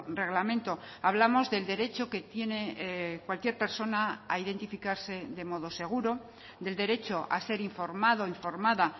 reglamento hablamos del derecho que tiene cualquier persona a identificarse de modo seguro del derecho a ser informado o informada